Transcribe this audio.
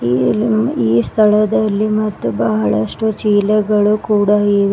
ಈ ಸ್ಥಳದಲ್ಲಿ ಮತ್ತು ಬಹಳಷ್ಟು ಚೀಲಗಳು ಇವೆ.